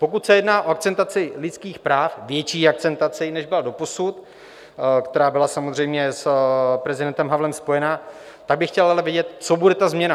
Pokud se jedná o akcentaci lidských práv, větší akcentaci, než byla doposud, která byla samozřejmě s prezidentem Havlem spojena, tak bych chtěl ale vědět, co bude ta změna.